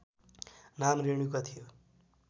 नाम रेणुका थियो